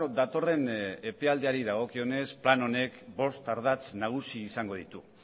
datorren epealdiari dagokionez plan honek bost ardatz nagusi izango ditu